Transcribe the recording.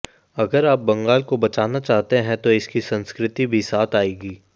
अगर आप बंगाल को बचाना चाहते हैं तो इसकी संस्कृति भी साथ आएगी